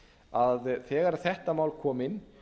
að þegar þetta mál kom inn